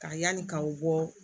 Ka yanni k'aw bɔ